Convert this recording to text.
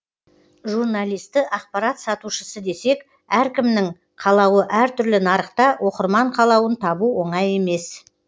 журналисті ақпарат сатушысы десек әркімнің қалауы әртүрлі нарықта оқырман қалауын табу оңай емес